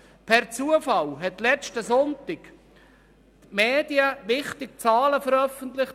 Per Zufall haben am letzten Sonntag die Medien wichtige Zahlen veröffentlicht.